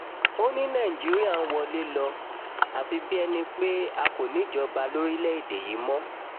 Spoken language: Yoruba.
ó ní nigeria ń wọlé lọ àfi bíi ẹni pé a kò níjọba lórílẹ̀-èdè yìí mọ́